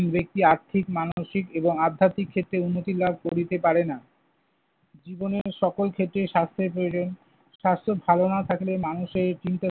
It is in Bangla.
ব্যক্তি আর্থিক, মানসিক এবং আধ্যাত্মিক ক্ষেত্রে উন্নতি লাভ করিতে পারে না। জীবনের সকল ক্ষেত্রে স্বাস্থ্যের প্রয়োজন। স্বাস্থ্য ভালো না থাকলে মানুষের চিন্তা